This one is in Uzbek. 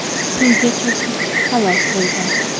suvga cho‘kib halok bo‘lgan.